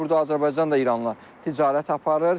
Burda Azərbaycan da İranla ticarət aparır.